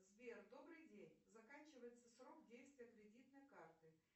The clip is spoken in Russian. сбер добрый день заканчивается срок действия кредитной карты